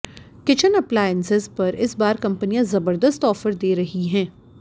kitchen appliances पर इस बार कंपनियां जबर्दस्त ऑफर दे रही हैं